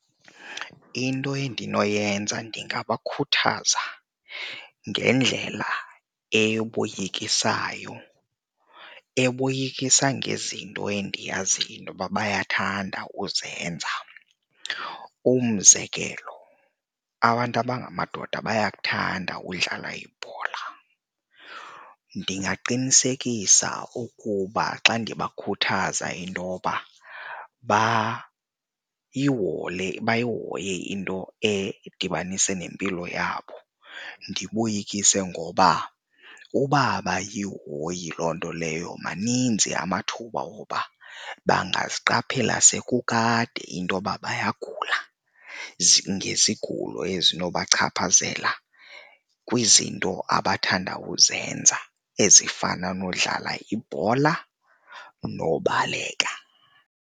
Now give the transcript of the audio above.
Into endinoyenza ndingabakhuthaza ngendlela eyoboyikiso, eboyikisa ngezinto endiyaziyo intoba bayathanda uzenza. Umzekelo abantu abangamadoda bayakuthanda udlala ibhola, ndingaqinisekisa ukuba xa ndibakhuthaza intoba bayihoye into edibanise nempilo yabo. Ndiboyikise ngoba uba abayihoyi loo nto leyo maninzi amathuba woba bangaziqaphela sekukade intoba bayagula ngezigulo ezinobachaphazela kwizinto abathanda uzenza ezifana nokudlala ibhola nobaleka.